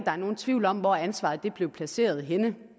er nogen tvivl om hvor ansvaret blev placeret henne